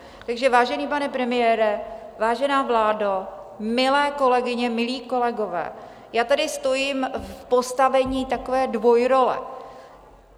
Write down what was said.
Takže, vážený pane premiére, vážená vládo, milé kolegyně, milí kolegové, já tady stojím v postavení takové dvojrole.